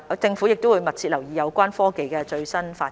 政府會密切留意有關科技的最新發展。